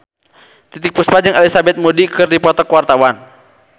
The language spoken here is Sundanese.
Titiek Puspa jeung Elizabeth Moody keur dipoto ku wartawan